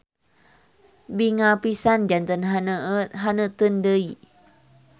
Binga pisan janten haneuteun deui.